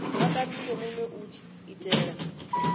vha kandise minwe u itela